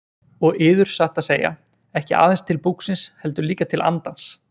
Og yður satt að segja, ekki aðeins til búksins heldur líka til andans.